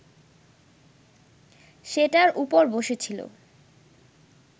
সেটার ওপর বসেছিল